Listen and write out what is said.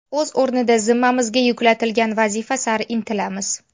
O‘z o‘rnida zimmamizga yuklatilgan vazifa sari intilamiz.